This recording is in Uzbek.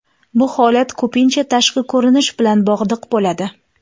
Bu holat ko‘pincha tashqi ko‘rinish bilan bog‘liq bo‘ladi.